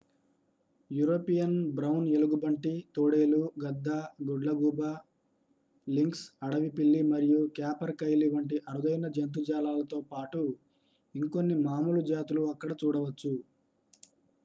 European brown ఎలుగుబంటి తోడేలు గద్ద గుడ్లగూబ లింక్స్ అడవి పిల్లి మరియు క్యాపర్కైలీ వంటి అరుదైన జంతుజాలాలతో పాటు ఇంకొన్ని మాములు జాతులు అక్కడ చూడవచ్చు